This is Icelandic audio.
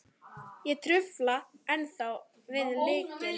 Ég dufla ennþá við lygina.